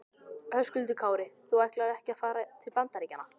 Höskuldur Kári: Þú ætlar ekki að fara til Bandaríkjanna?